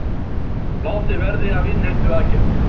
Látið verði af innheimtuaðgerðum